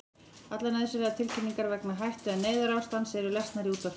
Allar nauðsynlegar tilkynningar vegna hættu- eða neyðarástands eru lesnar í útvarpi.